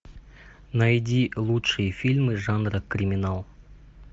найди лучшие фильмы жанра криминал